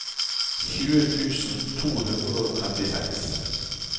tjue tusen to hundre og trettiseks